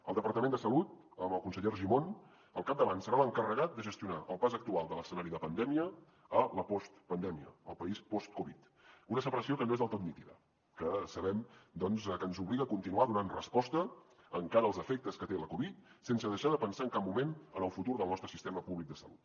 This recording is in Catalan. el departament de salut amb el conseller argimon al capdavant serà l’encarregat de gestionar el pas actual de l’escenari de pandèmia a la postpandèmia el país post covid una separació que no és del tot nítida que sabem doncs que ens obliga a continuar donant resposta encara als efectes que té la covid sense deixar de pensar en cap moment en el futur del nostre sistema públic de salut